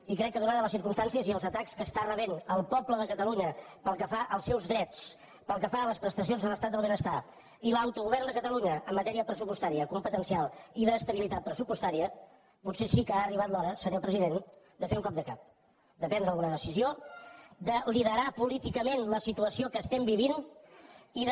i crec que donades les circumstàncies i els atacs que està rebent el poble de catalunya pel que fa als seus drets pel que fa a les prestacions de l’estat del benestar i l’autogovern de catalunya en matèria pressupostària competencial i d’estabilitat pressupostària potser sí que ha arribat l’hora senyor president de fer un cop de cap de prendre alguna decisió de liderar políticament la situació que estem vivint i de